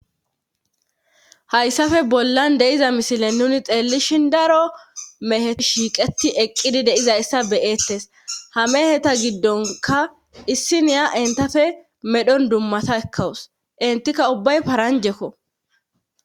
Hayssafe bollan deiza misile nuni xeellishin daro mehe shiiqeti eqqidi deizayssa beyeettes ha meheta giddonka issi niya intafe medhon dummata ekkawus intikka ubbay paranjekko.